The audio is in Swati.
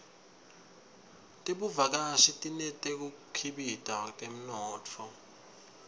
tebuvakashi tineteku khibika temnotfo